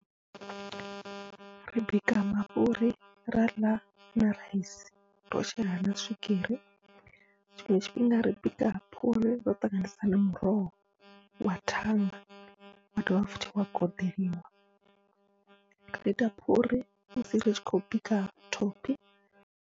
Ri bika mafhuri ra ḽa na raisi ro shela na swigiri, tshiṅwe tshifhinga ri bika phuri ro ṱanganisa na muroho wa thanga wa dovha futhi wa koḓelwa, ra ita phuri musi ritshi khou bika thophi.